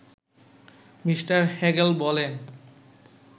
Mr Hegel বলেন